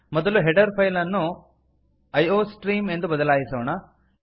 ಮೊದಲು header file ಅನ್ನು iostream ಎಂದು ಬದಲಾಯಿಸೋಣ